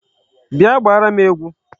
Bịa gbaara m egwu!